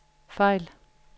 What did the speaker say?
fejl